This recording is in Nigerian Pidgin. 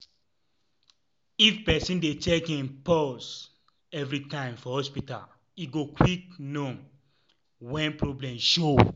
if person dey check im pause evrytime for hospita e go quick nom wen problem show.